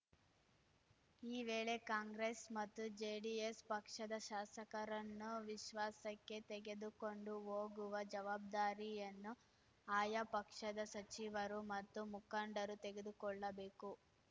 ಈ ವೇಳೆ ಕಾಂಗ್ರೆಸ್‌ ಮತ್ತು ಜೆಡಿಎಸ್‌ ಪಕ್ಷದ ಶಾಸಕರನ್ನು ವಿಶ್ವಾಸಕ್ಕೆ ತೆಗೆದುಕೊಂಡು ಹೋಗುವ ಜವಾಬ್ದಾರಿಯನ್ನು ಆಯಾ ಪಕ್ಷದ ಸಚಿವರು ಮತ್ತು ಮುಖಂಡರು ತೆಗೆದುಕೊಳ್ಳಬೇಕು